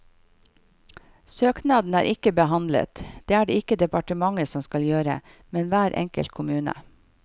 Søknadene er ikke behandlet, det er det ikke departementet som skal gjøre, men hver enkelt kommune.